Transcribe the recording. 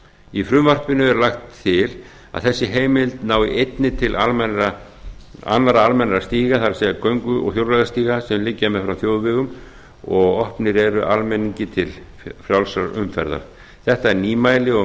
í frumvarpinu er lagt til að þessi heimild nái einnig til annarra almennra stíga það er göngu og hjólreiðastíga sem liggja meðfram þjóðvegum og opnir eru almenningi til frjálsrar umferðar þetta er nýmæli og